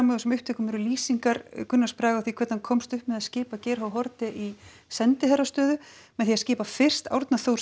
á þessum upptökum eru lýsingar Gunnars Braga á því hvernig hann komst upp með að skipa Geir Haarde í sendiherrastöðu með því að skipa fyrst Árna Þór